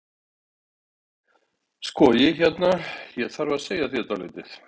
Sko. ég hérna. ég þarf að segja þér dálítið.